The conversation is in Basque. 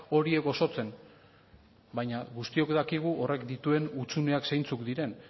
horiek osotzen baina guztiok dakigu horrek dituen hutsuneak zeintzuk diren